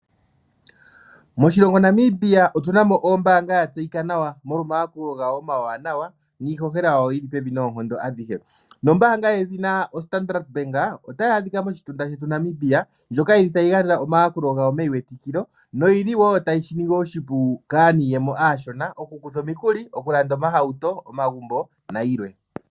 Moshilongo Namibia otu na ombaanga ya tseyika nawa molwa omayakulo gayo omawanawa, niihohela yawo yi li pevi noonkondo adhihe. Nombaanga yedhina oStandard Bank, otayi adhika moshitunda shetu Namibia, ndjoka yi li tayi gandja omayakulo gayo meyiwetikilo noyi li wo tayi shi ningi oshipu kaaniiyemo aashona okukutha omikuli, okulanda omahauto, omagumbo nayilwe.